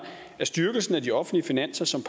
styrkelsen af de offentlige finanser som